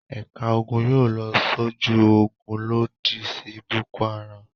Ẹ̀ka ogun yóò lọ sójú ogun lòdì sí Boko-Haram.